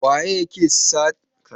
Waye yake satar bulallikan?